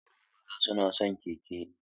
Yara maza na son keke.